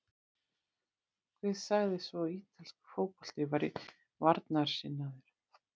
Hver sagði svo að ítalskur fótbolti væri varnarsinnaður?